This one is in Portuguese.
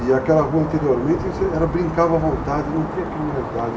E aquela rua, anteriormente, brincava à vontade, não tinha criminalidade.